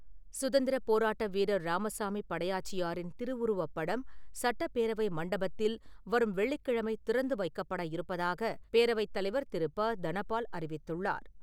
சுதந்திரப் போராட்ட வீரர் ராமசாமி படையாச்சியாரின் திருவுருவப்படம், சட்டப் பேரவை மண்டபத்தில் வரும் வெள்ளிக்கிழமை திறந்து வைக்கப்பட இருப்பதாக பேரவைத் தலைவர் திரு ப தனபால் அறிவித்துள்ளார்.